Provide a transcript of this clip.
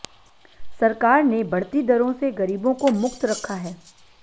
सरकार ने बढ़ती दरों से गरीबों को मुक्त रखा है